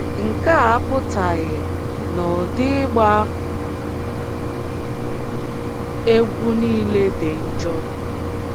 Nke a apụtaghị na ụdị ịgba egwú nile dị njọ.